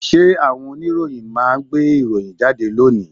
Ṣé àwọn oníròyìn máa gbé ìròyìn jáde lónìí?